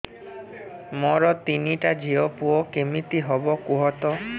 ମୋର ତିନିଟା ଝିଅ ପୁଅ କେମିତି ହବ କୁହତ